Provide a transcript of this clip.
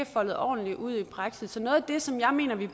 foldet ordentligt ud i praksis og noget af det som jeg mener vi